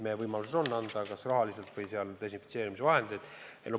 Meie võimalus on anda seda kas raha või desinfitseerimisvahendite näol.